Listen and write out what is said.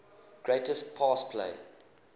greatest pass play